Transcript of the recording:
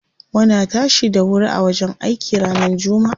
Muna tashi da wuri a wajen aiki ranar jummaa.